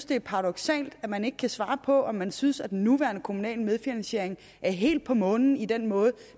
det er paradoksalt at man ikke kan svare på om man synes at den nuværende kommunale medfinansiering er helt på månen i den måde